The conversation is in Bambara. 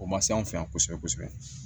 O ma se anw fɛ yan kosɛbɛ kosɛbɛ